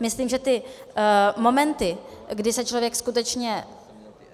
Myslím, že ty momenty, kdy se člověk skutečně